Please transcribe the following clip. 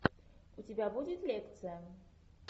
у тебя будет лекция